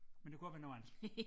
Men det kunne også være noget andet